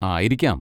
ആയിരിക്കാം.